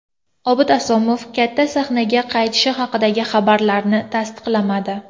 Obid Asomov katta sahnaga qaytishi haqidagi xabarlarni tasdiqlamadi.